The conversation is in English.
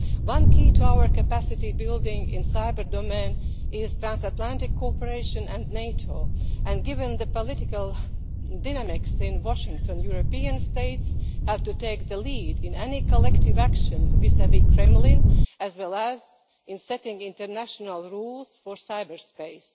One key to our capacity building in the cyber domain is trans Atlantic cooperation and NATO, and, given the political dynamics in Washington, European states have to take the lead in any collective action vis vis the Kremlin, as well as in setting international rules for cyber space.